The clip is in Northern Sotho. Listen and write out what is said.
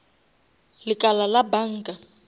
lekala la banka